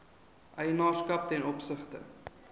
eienaarskap ten opsigte